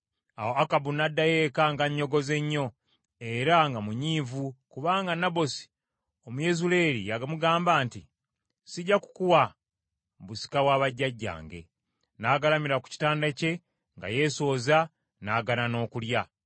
Awo Akabu n’addayo eka ng’annyogoze nnyo era nga munyiivu kubanga Nabosi Omuyezuleeri yamugamba nti, “Sijja kukuwa busika bwa bajjajjange.” N’agalamira ku kitanda kye nga yeesooza, n’agaana n’okulya.